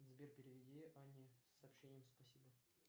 сбер переведи ане с сообщением спасибо